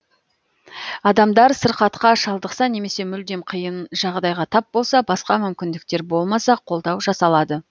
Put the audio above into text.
адамдар сырқатқа шалдықса немесе мүлдем қиын жағдайға тап болса басқа мүмкіндіктер болмаса қолдау жасалады